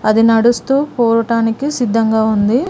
ఇది నడుస్తూ పోవటానికి సిద్ధంగా ఉంది.